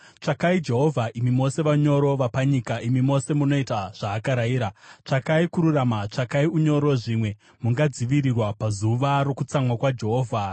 Tsvakai Jehovha, imi mose vanyoro vapanyika, imi mose munoita zvaakarayira. Tsvakai kururama, tsvakai unyoro; zvimwe mungadzivirirwa pazuva rokutsamwa kwaJehovha.